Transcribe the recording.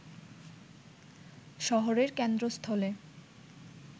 শহরের কেন্দ্রস্থলে